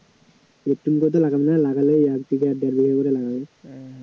প্রথম কথা লাগাবে না, লাগালে এক বিঘা দেড় বিঘা করে লাগাবে